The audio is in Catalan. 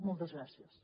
moltes gràcies